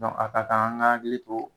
a ka kan ,an ka hakili to